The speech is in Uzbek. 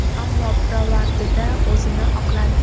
Ammo pirovardida o‘zini oqladi.